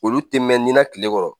Olu tɛ mɛn kile kɔrɔ